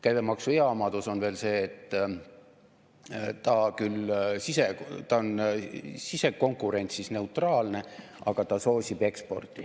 Käibemaksu hea omadus on veel see, et ta on küll sisekonkurentsis neutraalne, aga ta soosib eksporti.